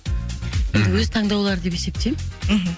мхм өз таңдаулары деп есептеймін мхм